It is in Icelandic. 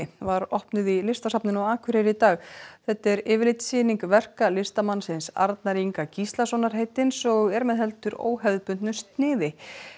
var opnuð í Listasafninu á Akureyri í dag þetta er yfirlitssýning verka listamannsins Arnar Inga Gíslasonar heitins og er með heldur óhefðbundnu sniði